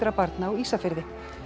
barna á Ísafirði